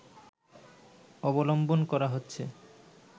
অবলম্বন করা হচ্ছে